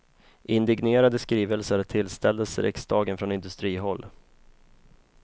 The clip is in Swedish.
Indignerade skrivelser tillställdes riksdagen från industrihåll.